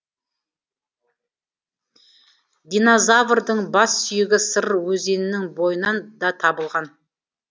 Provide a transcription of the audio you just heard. динозаврдың бас сүйегі сыр өзенінің бойынан да табылған